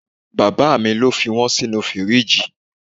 Bàbá mi lo fi wọn sinu firiji.